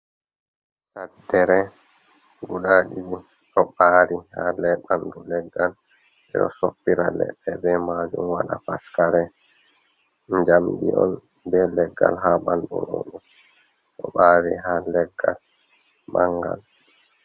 Saɗɗere guɗa ɗidi ɗo ɓari ha le ɓanɗu leggal, ɓe ɗo soppira leɗɗe ɓe majum waɗa paskare, jamɗi on ɓe leggal ha ɓanɗu mum ɗo ɓari ha leggal mangal.